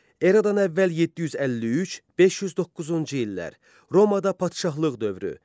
Eradan əvvəl 753-509-cu illər Romaada padşahlıq dövrü.